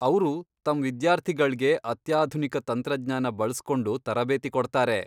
ಅವ್ರು ತಮ್ ವಿದ್ಯಾರ್ಥಿಗಳ್ಗೆ ಅತ್ಯಾಧುನಿಕ ತಂತ್ರಜ್ಞಾನ ಬಳ್ಸ್ಕೊಂಡು ತರಬೇತಿ ಕೊಡ್ತಾರೆ.